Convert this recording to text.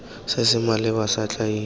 se se maleba sa tlhagiso